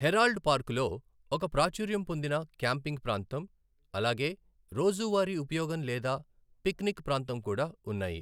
Herald పార్కులో ఒక ప్రాచుర్యం పొందిన క్యాంపింగ్ ప్రాంతం, అలాగే రోజువారీ ఉపయోగం లేదా పిక్నిక్ ప్రాంతం కూడా ఉన్నాయి.